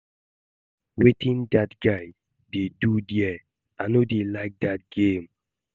Wetin dat guy dey do there? I no dey like dat game